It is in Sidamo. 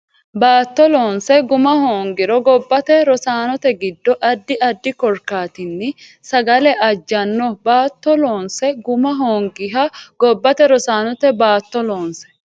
Baatto loonse guma hoongiro gobbate Rosaanote giddo addi addi korkaatinni sagale ajjanno Baatto loonse guma hoongiro gobbate Rosaanote Baatto loonse.